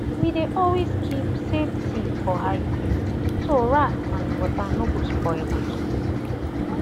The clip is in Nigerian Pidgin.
we dey always keep saved seed for high place so rat and water no go spoil am